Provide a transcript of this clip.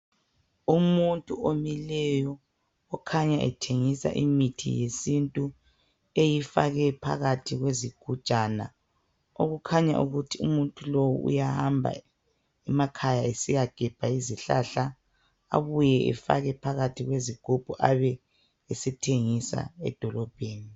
Umuntu omileyo okhanya ethengisa imithi yesintu eyifake phakathi kwezigujana okukhanya ukuthi umuntu lowu uyahamba emakhaya esiyagebha izihlahla abuye efake kuzigubhu abe sethengisa emadolobheni.